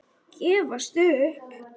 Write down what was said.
Gefast upp!